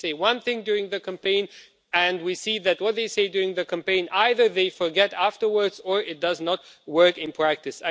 they say one thing during the campaign and then we see that what they say during the campaign they either forget it afterwards or it does not work in practice.